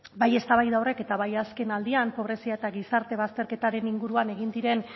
bai eztabaida horrek eta bai azkenaldian pobrezia eta gizarte bazterketaren inguruan egin diren